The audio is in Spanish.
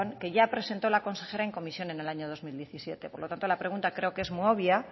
que ya presento la consejera en comisión en el año dos mil diecisiete por lo tanto la pregunta creo que es muy obvia